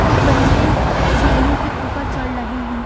कुछ बच्चे सीढ़ियों के ऊपर चढ़ रहे हैं।